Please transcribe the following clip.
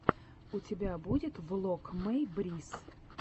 у тебя будет влог мэй брисс